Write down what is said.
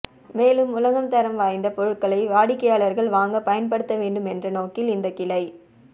மேலும் உலகத்தரம் வாய்ந்த பொருள்களை வாடிக்கையாளர்கள் வாங்க பயன்படுத்த வேண்டும் என்ற நோக்கில் இந்த கிளை